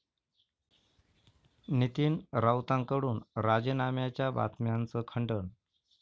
नितीन राऊतांकडून राजीनाम्याच्या बातम्यांचं खंडन